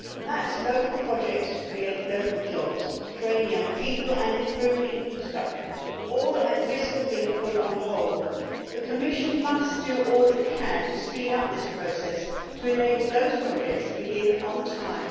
That means local projects to create local jobs, train young people and improve infrastructure, all at risk of being put on hold. The Commission must do all it can to speed up this process to enable those projects to begin on time